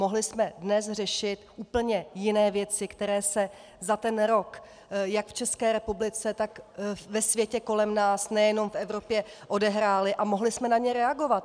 Mohli jsme dnes řešit úplně jiné věci, které se za ten rok jak v České republice, tak ve světě kolem nás, nejenom v Evropě, odehrály, a mohli jsme na ně reagovat.